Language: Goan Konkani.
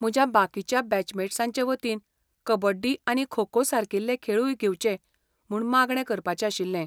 म्हज्या बाकीच्या बॅचमेट्सांचे वतीन, कबड्डी आनी खो खो सारकिले खेळूय घेवचे म्हूण मागणें करपाचें आशिल्लें.